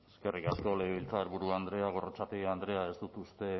eskerrik asko legebiltzarburu andrea gorrotxategi andrea ez dut uste